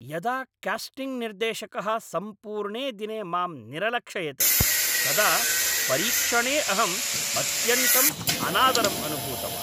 यदा कास्टिङ्ग् निर्देशकः सम्पूर्णे दिने मां निरलक्षयत् तदा परीक्षणे अहं अत्यन्तं अनादरम् अनुभूतवान्।